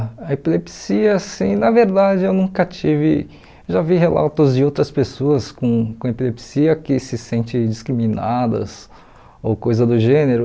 A epilepsia, assim na verdade, eu nunca tive... Já vi relatos de outras pessoas com com epilepsia que se sentem discriminadas ou coisa do gênero.